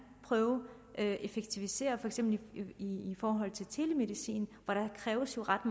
prøve at effektivisere i forhold til telemedicin og der kræves jo ret